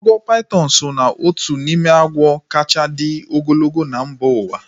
Agwọ paitọn so ná otu n'ime agwọ kacha dị ogologo na mba uwa